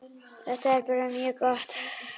Þetta er bara mjög gott.